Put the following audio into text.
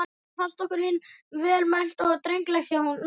Þetta fannst okkur hinum vel mælt og drengilega hjá Nonna.